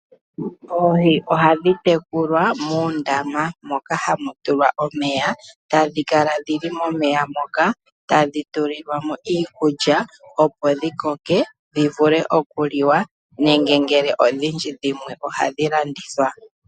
Oohi ohadhi tekulwa moondama, moka hamu tulwa omeya. Ohadhi kala dhili momeya moka, tadhi tulilwamo iikulya, opo dhikoke dhi vule okuliwa nenge oku landithwa.